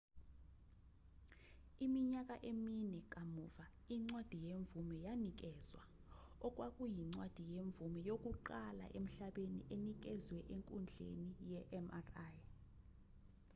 iminyaka emine kamuva incwadi yemvume yanikezwa okwakuyincwadi yemvume yokuqala emhlabeni enikezwe enkundleni yemri